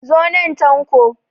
Zo nan Tanko!